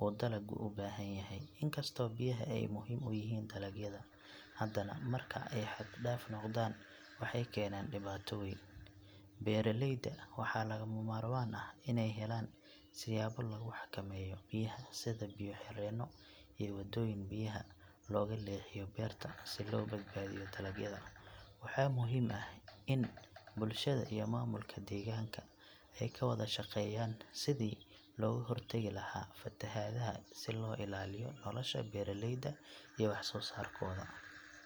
uu dalaggu u baahan yahay. Inkastoo biyaha ay muhiim u yihiin dalagyada, haddana marka ay xad dhaaf noqdaan waxay keenaan dhibaato weyn. Beeraleyda waxaa lagama maarmaan ah inay helaan siyaabo lagu xakameeyo biyaha sida biyo xireenno iyo wadooyin biyaha looga leexiyo beerta si loo badbaadiyo dalagyada. Waxaa muhiim ah in bulshada iyo maamulka deegaanka ay ka wada shaqeeyaan sidii looga hortagi lahaa fatahaadaha si loo ilaaliyo nolosha beeraleyda iyo wax soo saarkooda.